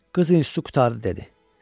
Qız institutu qurtardı dedi.